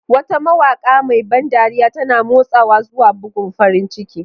Wata mawaƙa mai ban dariya, tana motsawa zuwa bugun farin ciki.